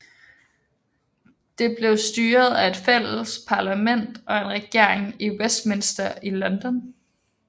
Det blev styret af et fælles parlament og en regering i Westminster i London